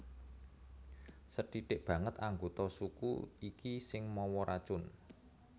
Sethithk banget anggota suku iki sing mawa racun